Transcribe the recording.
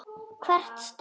Hvert strá.